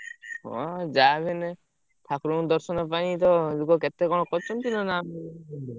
ହଁ ଯାହାବି ହେଲେ ଠାକୁରଙ୍କୁ ଦର୍ଶନ ପାଇଁ ତ ଲୋକ କେତେ କଣ କରୁଛନ୍ତି ନହେଲେ ଆମେ।